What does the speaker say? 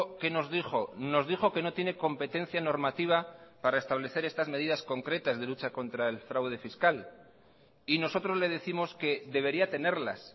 qué nos dijo nos dijo que no tiene competencia normativa para establecer estas medidas concretas de lucha contra el fraude fiscal y nosotros le décimos que debería tenerlas